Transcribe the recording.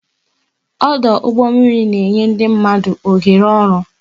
Ọdụ ụgbọ mmiri na enye ndị mmadụ oghere oru